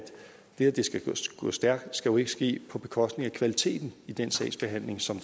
det skal gå stærkt jo ikke skal ske på bekostning af kvaliteten i den sagsbehandling som